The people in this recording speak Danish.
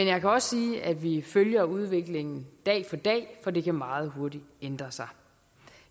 jeg kan også sige at vi følger udviklingen dag for dag for det kan meget hurtigt ændre sig